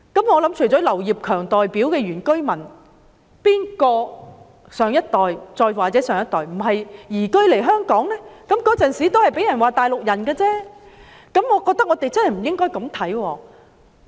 我相信除了劉業強議員代表的原居民，很多人的上一代或再上一代也是移居來香港的，也曾被人指是"大陸人"，我覺得我們不應這樣看。